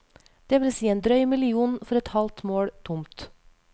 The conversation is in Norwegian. Det vil si en drøy million for et halvt mål tomt.